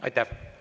Aitäh!